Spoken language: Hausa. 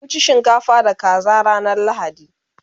mun ci shinkafa da kaza ranar lahadi